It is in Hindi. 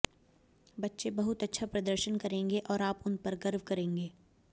बच्चे बहुत अच्छा प्रर्दशन करेंगे और आप उन पर गर्व करेंगे